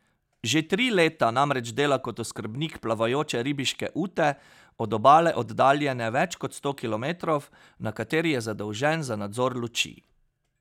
Že tri leta namreč dela kot oskrbnik plavajoče ribiške ute, od obale oddaljene več kot sto kilometrov, na kateri je zadolžen za nadzor luči.